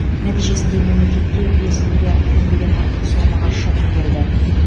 нәтижесінде мемлекетке бес миллиард теңгеден артық соммаға шығын келді